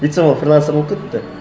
өйтсем ол фрилансер болып кетіпті